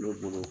Ne bolo